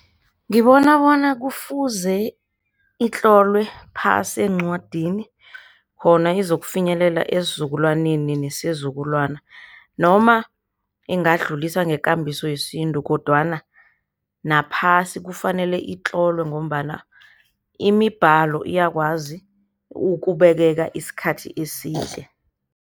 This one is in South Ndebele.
Ngibona bona kufuze itlolwe phasi eencwadini khona izokufinyelela esizukulwaneni nesizukulwana noma ingadluliswa ngekambiso yesintu, kodwana nabaphasi kufanele itlolwe ngombana imibhalo iyakwazi ukubekeka isikhathi eside.